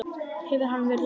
Hefur hann verið lasinn?